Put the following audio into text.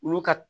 Olu ka